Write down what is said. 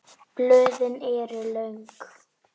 Blöðin eru löng.